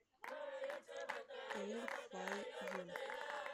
эль файюм